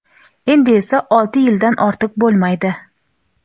endi esa olti yildan ortiq bo‘lmaydi.